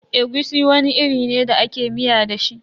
Egusi wani iri ne da ake miya da shi.